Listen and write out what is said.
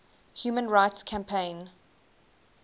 human rights campaign